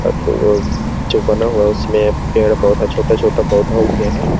और वो जो बना हुआ है उसमें पेड़- पौधा छोटा -छोटा पौधा उगे है |